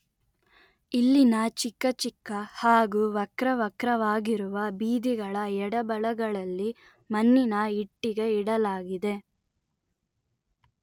ಇಲ್ಲಿನ ಚಿಕ್ಕಚಿಕ್ಕ ಹಾಗೂ ವಕ್ರವಕ್ರವಾಗಿರುವ ಬೀದಿಗಳ ಎಡಬಲಗಳಲ್ಲಿ ಮಣ್ಣಿನ ಇಟ್ಟಿಗೆ ಇಡಲಾಗಿದೆ